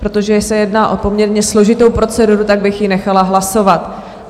Protože se jedná o poměrně složitou proceduru, tak bych ji nechala hlasovat.